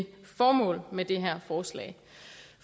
formålet med det her forslag